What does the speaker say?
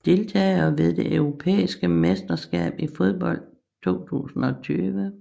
Deltagere ved det europæiske mesterskab i fodbold 2020